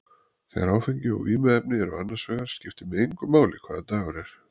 Þegar áfengi og vímuefni eru annars vegar skiptir mig engu máli hvaða dagur er.